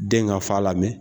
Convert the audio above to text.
Den ka fa lamɛn